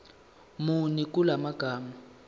muni kula magama